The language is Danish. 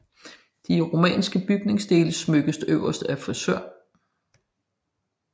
De romanske bygningsdele smykkes øverst af friser